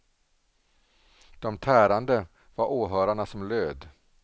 De tärande var åhörarna som löd.